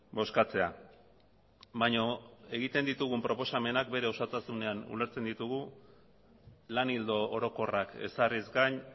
bozkatzea baina egin ditugun proposamenak bere osotasunean ulertzen ditugu lan ildo orokorrak ezarriz gain